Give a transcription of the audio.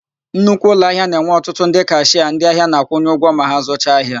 Nnukwu ụlọahịa na-enwe ọtụtụ ndị kashịa ndịahịa na-akwụnye ụgwọ ma ha zụcha ahia.